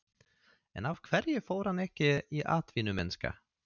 En af hverju fór hann ekki í atvinnumennskuna?